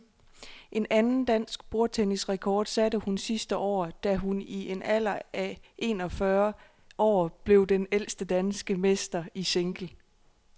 En anden dansk bordtennisrekord satte hun sidste år, da hun i en alder af en og fyrre år blev den ældste danske mester i single.